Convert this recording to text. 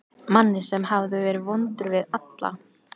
Manni sem hafði verið vondur við alla.